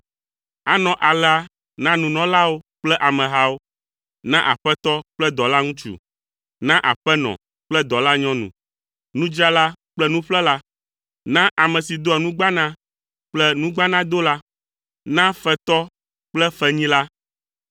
Anɔ alea na nunɔlawo kple amehawo, na aƒetɔ kple dɔlaŋutsu, na aƒenɔ kple dɔlanyɔnu, nudzrala kple nuƒlela, na ame si doa nugbana kple nugbanadola, na fetɔ kple fenyila.